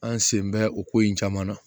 An sen bɛ o ko in caman na